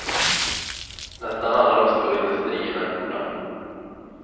Nästan alla de stora industrierna är borta.